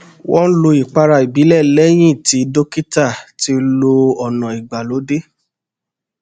wọn lo ìpara ìbílẹ lẹyìn tí dókítà ti lo ọnà ìgbàlódé